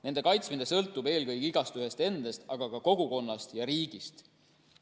Nende kaitsmine sõltub eelkõige igaühest endast, aga ka kogukonnast ja riigist.